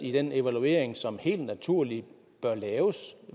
i den evaluering som helt naturligt bør laves